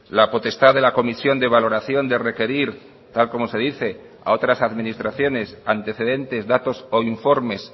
la potestad de la comisión de valoración de requerir tal como se dice a otras administraciones antecedentes datos o informes